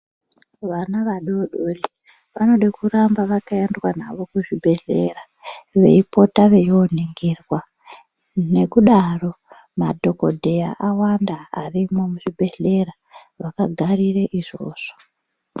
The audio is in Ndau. Vana vadodori vanode kuramba vakaendwa navo kuzvibhehleya ,veipota veiyoningirwa nekudaro madhokodheya awanda arimwo muzvibhehleya vakagarire izvovzo.